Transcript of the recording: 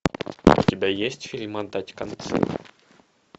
у тебя есть фильм отдать концы